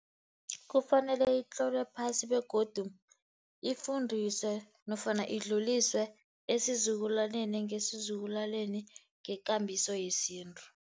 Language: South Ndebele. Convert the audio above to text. Kufanele itlolwe phasi begodu ifundiswe, nofana idluliswe esizukulwaneni ngesizukulwaneni ngekambiso yesintu.